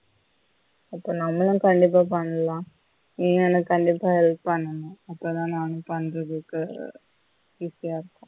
இப்ப நம்மழும் கண்டிப்பா பண்லாம் நீனும் எனக்கு கண்டிப்பா help பண்ணனும் அப்பதான் நானும் பண்றதுக்கு easy யா இருக்கும்